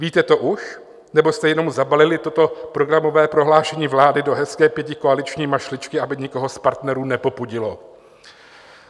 Víte to už, nebo jste jenom zabalili toto programové prohlášení vlády do hezké pětikoaliční mašličky, aby nikoho z partnerů nepopudilo?